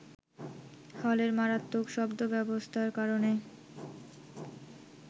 হলের মারাত্মক শব্দব্যবস্থার কারণে